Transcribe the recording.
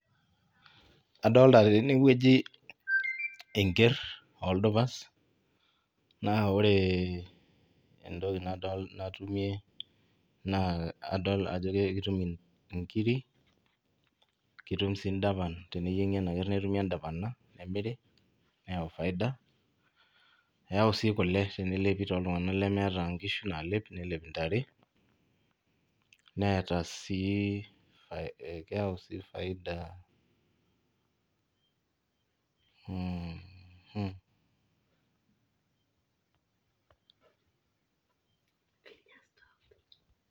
Adolta tenewueji enker oldupas naa ore entoki nadolta tene naa adolta ajo ekitum inkiri , kitum sii ndapan teneyiengi enaker ,kitumsii nkiri neyau faida ,neyau si kule tooltunganak lemeeta nkishu nalep nelep ntare, neeta sii ,keyau sii faida ,mmhh.